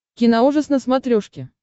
киноужас на смотрешке